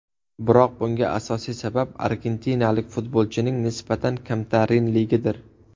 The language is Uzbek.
Biroq bunga asosiy sabab argentinalik futbolchining nisbatan kamtarinligidir.